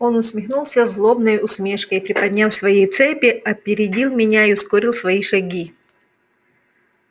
он усмехнулся злобной усмешкой и приподняв свои цепи опередил меня и ускорил свои шаги